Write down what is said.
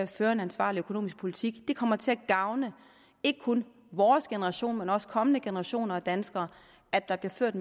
fører en ansvarlig økonomisk politik det kommer til at gavne ikke kun vores generation men også kommende generationer af danskere at der bliver ført